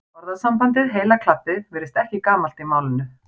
Orðasambandið heila klabbið virðist ekki gamalt í málinu.